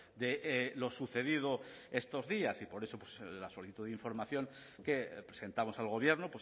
de lo sucedido estos días y por eso la solicitud de información que presentamos al gobierno